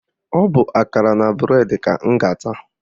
Ọ bụ akara na bụredi ka m ga-ata